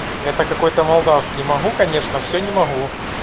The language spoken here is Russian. это какой-то молдавские могу конечно все не могу